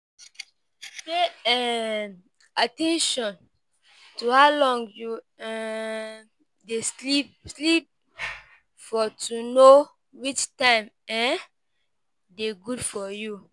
Pay um at ten tion to how long you um dey sleep sleep for to know which time um dey good for you